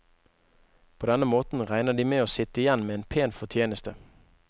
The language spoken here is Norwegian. På denne måten regner de med å sitte igjen med en pen fortjeneste.